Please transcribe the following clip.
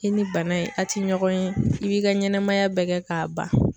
I ni bana in a ti ɲɔgɔn ye i b'i ka ɲɛnɛmaya bɛɛ kɛ k'a ban.